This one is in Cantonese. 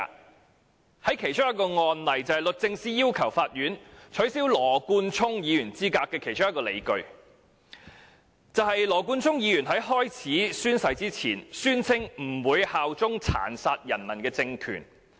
讓我舉其中一個例子，律政司要求法院取消羅冠聰議員資格所持的其中一項理據，就是羅議員在宣誓前，宣稱不會效忠殘殺人民的政權。